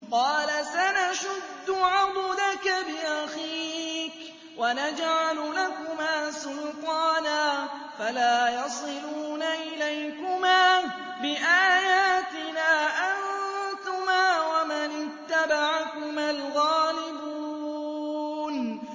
قَالَ سَنَشُدُّ عَضُدَكَ بِأَخِيكَ وَنَجْعَلُ لَكُمَا سُلْطَانًا فَلَا يَصِلُونَ إِلَيْكُمَا ۚ بِآيَاتِنَا أَنتُمَا وَمَنِ اتَّبَعَكُمَا الْغَالِبُونَ